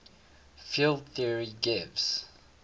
field theory gives